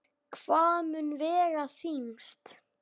Hvað mun vega þyngst?